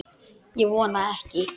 Ég vona ekki.